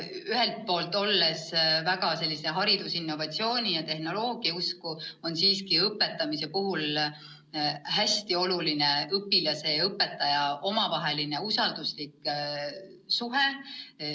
Ühelt poolt ma olen väga hariduse innovatsiooni ja tehnoloogia usku, aga teisalt on õpetamise puhul hästi oluline õpilase ja õpetaja omavaheline usalduslik suhe.